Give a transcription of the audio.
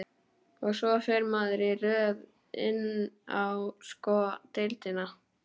Og svo fer maður í röð inn á sko deildina.